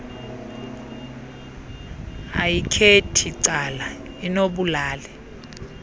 ayikhethi cala inobulali